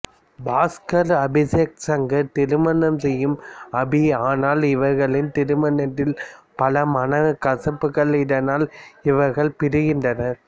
பாஸ்கரை அபிசேக் சங்கர் திருமணம் செய்யும் அபி ஆனால் இவர்களின் திருமணத்தில் பல மனக்கசப்புகள் இதனால் இவர்கள் பிரிக்கின்றனர்